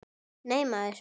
Nei, maður!